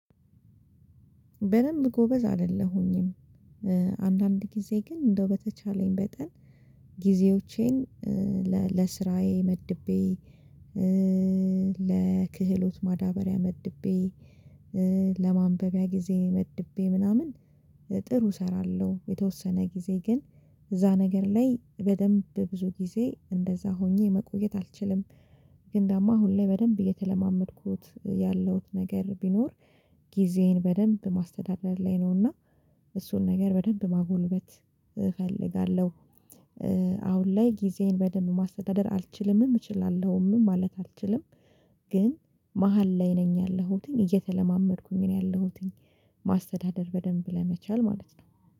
በደንብ ጎበዝ አይደለሁኝም። አንዳንድ ጊዜ ግን እንደው በተቻለኝ በጠን ጊዜዎቼን ለስራዬ መድቤ። ለክህሎት ማዳበሪያ መድቤ ለማንበቢያ ጊዜ መድቤ ምናምን ጥሩ እሰራለሁ። የተወሰነ ጊዜ ግን እዛ ነገር ላይ በደንብ ብዙ ጊዜ እንደዛ ሆኜ መቆየት አልችልም። ግን ደግሞ አሁን ላይ በደንብ እየተለማመድኩት ያለሁት ነገር ቢኖር ጊዜዬን በደንብ ማስተዳደር ላይ ነውና እሱን ነገር በደንብ ማጎልበት እፈልጋለሁ። አሁን ላይ ጊዜዬን በደንብ ማስተዳደር አልችልም እችላለሁም ማለት አልችልም። ግን መሃል ላይ ነኝ ያለሁትኝ እየተለማመድኩኝ ነው ያለሁትኝ። ማስተዳደር በደንብ ለመቻል ማለት ነው